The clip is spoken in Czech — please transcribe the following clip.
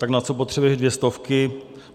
- Tak na co potřebuješ dvě stovky?